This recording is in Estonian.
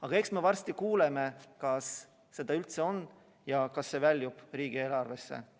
Aga eks me varsti kuuleme, kas seda üldse on ja kas see väljub riigieelarvesse.